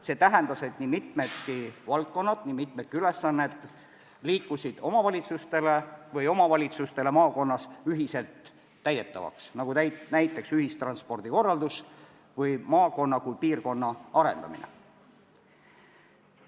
See tähendas, et nii mitmedki valdkonnad, nii mitmedki ülesanded kandusid üle üksikutele omavalitsustele või hakkasid maakonna omavalitsused neid ühiselt täitma, nagu näiteks ühistranspordi korraldus või maakonna kui piirkonna arendamine.